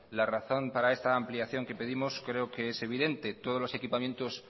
la razón para esa ampliación que pedimos creo que es evidente todos los equipamientos